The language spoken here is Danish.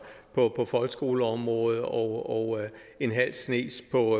på folkeskoleområdet og en halv snes på